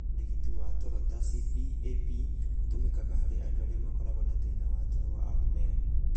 Ũrigiti wa toro ta CPAP ũtũmĩkaga harĩ andũ arĩa makoragwo na thĩna wa toro wa apnea.